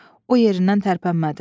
O yerindən tərpənmədi.